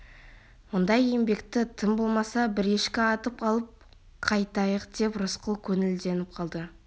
ондай еңбекті тым болмаса бір ешкі атып алып қайтайық деп рысқұл көңілденіп қалды